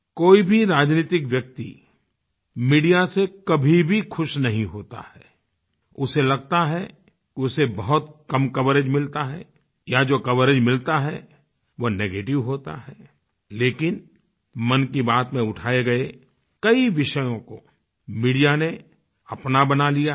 कोई भी राजनैतिक व्यक्ति मीडिया से कभी भी खुश नहीं होता है उसे लगता है उसे बहुत कम कवरेज मिलता है या जो कवरेज मिलता है वो नेगेटिव होता है लेकिन मन की बात में उठाए गए कई विषयों को मीडिया ने अपना बना लिया है